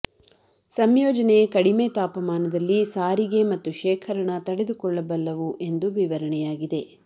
ಸಂಯೋಜನೆ ಕಡಿಮೆ ತಾಪಮಾನದಲ್ಲಿ ಸಾರಿಗೆ ಮತ್ತು ಶೇಖರಣಾ ತಡೆದುಕೊಳ್ಳಬಲ್ಲವು ಎಂದು ವಿವರಣೆಯಾಗಿದೆ